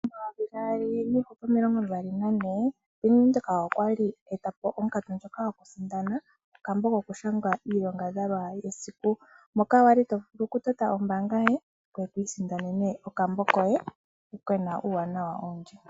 2024 Bank Windhoek okwali eetapo onkatu ndjoka yokusindano okambo kokushangwa iilongadhalwa yesiku, moka wali tovulu okutota ombaanga yoye ngoye to isindanene okambo koye kena uuwanawa owundji.